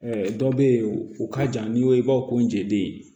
dɔ bɛ yen u ka ca n'i ko i b'a fɔ ko n jeden